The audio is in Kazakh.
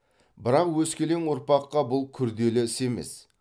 бірақ өскелең ұрпаққа бұл күрделі іс емес